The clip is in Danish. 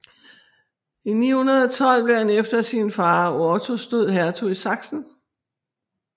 I 912 blev han efter sin fader Ottos død hertug i Sachsen